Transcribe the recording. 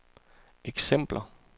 eksempler